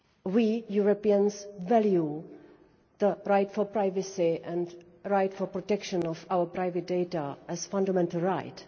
We Europeans value the right to privacy and the right to the protection of our private data as a fundamental right.